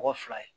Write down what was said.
Mɔgɔ fila ye